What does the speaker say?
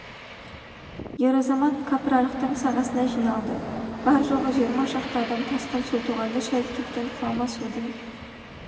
ер азамат кәпірарықтың сағасына жиналды бар-жоғы жиырма шақты адам тасқын су тоғанды шайып кеткен құлама судың